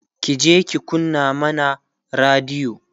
kije ki kunna mana radiyo!